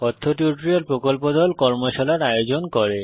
কথ্য টিউটোরিয়াল প্রকল্প দল কর্মশালার আয়োজন করে